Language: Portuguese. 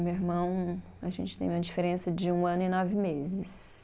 Meu irmão, a gente tem uma diferença de um ano e nove meses.